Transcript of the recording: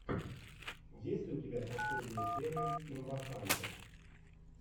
есть ли у тебя последняя серия имбахантэ